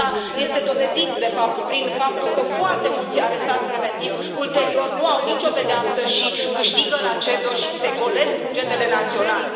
Asta este dovedit, de fapt, prin faptul că foarte mulți arestați preventiv, ulterior, nu au nicio pedeapsă și câștigă la CEDO și se golesc bugetele naționale.